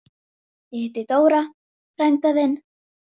Við ræðum nudd um stund.